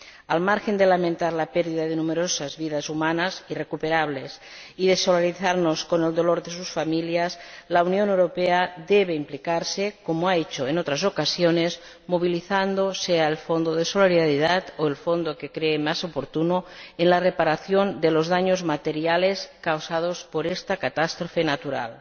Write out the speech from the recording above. Al margen de lamentar la pérdida de numerosas vidas humanas, irrecuperables, y de solidarizarnos con el dolor de sus familias, la Unión Europea debe implicarse, como ha hecho en otras ocasiones, movilizando, sea el Fondo de Solidaridad o el fondo que crea más oportuno, en la reparación de los daños materiales causados por esta catástrofe natural.